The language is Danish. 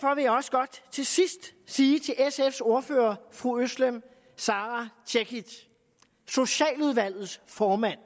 jeg også godt til sidst sige til sfs ordfører fru özlem sara cekic socialudvalgets formand